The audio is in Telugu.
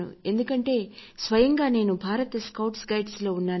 ఎందుకంటే స్వయంగా నేను భారత్ స్కౌట్స్ అండ్ గైడ్స్లో ఉన్నాను